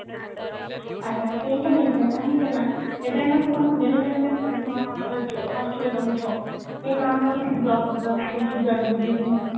ଆଜ୍ଞା ସେଇଟା ହେଇଥାଏ କାହିଁକି ନା ଏବେ ଆମେ ସବୁ ଆମେ daily life ରେ କେହି hostel ରେ ରହୁଛୁ କିଏ ତାଙ୍କର ରୁହନ୍ତି